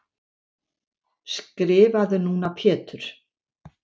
Skrifaðu núna Pétur.